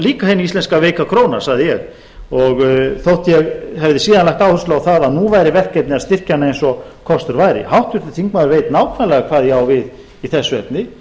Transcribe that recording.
líka hin íslenska veika króna sagði ég þótt ég hafi síðan lagt áherslu á það að nú væri verkefni að styrkja hana eins og kostur væri háttvirtur þingmaður veit nákvæmlega hvað ég á við í þessu efni